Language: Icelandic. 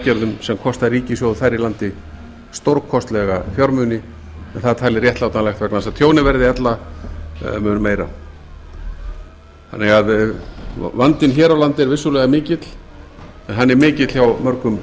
örvunaraðgerðum sem kosta ríkissjóð þar í landi stórkostlega fjármuni en það er talið réttlætanlegt vegna þess að tjónið verði ella mun meira vandinn hér á landi er vissulega mikill en hann er mikill hjá mörgum